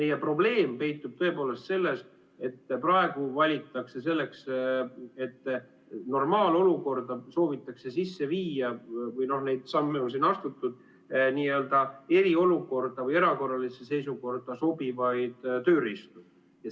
Meie probleem peitub tõepoolest selles, et praegu soovitakse normaalolukorda sisse viia – neid samme on siin astutud – n-ö eriolukorda või erakorralisse seisukorda sobivaid tööriistu.